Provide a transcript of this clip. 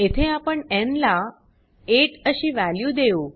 येथे आपण न् ला 8 अशी वॅल्यू देऊ